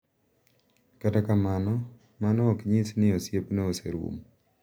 Kata kamano, mano ok nyis ni osiepno oserumo.